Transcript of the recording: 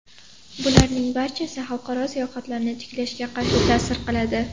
Bularning barchasi xalqaro sayohatlarni tiklashga qarshi ta’sir qiladi.